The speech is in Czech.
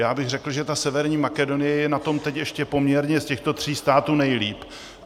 Já bych řekl, že ta Severní Makedonie je na tom teď ještě poměrně z těchto tří států nejlépe.